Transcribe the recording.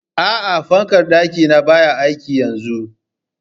A'a, fankar ɗaki na baya aiki yanzun?